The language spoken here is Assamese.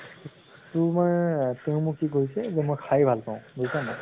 তেওঁ মোক কি কৈছে যে মই খাই ভাল পাওঁ, বুইছা নে নাই?